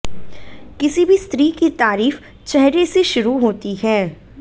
किसी भी स्त्री की तारीफ चेहरे से शुरु होती है